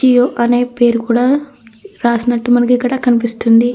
జియో అనే పేరు కూడా రాసినట్టు మనకి ఇక్కడ కనిపిస్తుంది.